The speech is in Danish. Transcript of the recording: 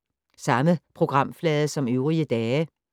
Samme programflade som øvrige dage